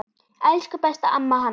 Elsku besta amma Hanna.